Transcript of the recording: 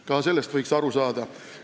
Ka sellest võiks aru saada.